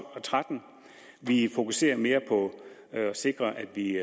og tretten vi fokuserer også mere på at sikre at vi